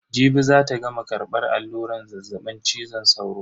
Jibi zata gama karbar alluran zazzabin cizon sauro.